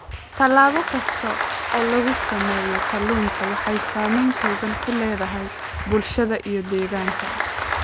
Tallaabo kasta oo lagu sameeyo kalluunku waxay saamayn togan ku leedahay bulshada iyo deegaanka